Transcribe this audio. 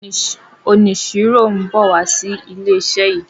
oniṣiro nbọ wá so ìlé iṣẹ yí.